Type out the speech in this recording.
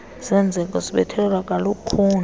senzeko sibethelelwa kalukhuni